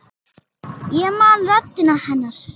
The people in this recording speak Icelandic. Ég man röddina hennar.